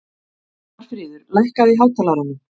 Marfríður, lækkaðu í hátalaranum.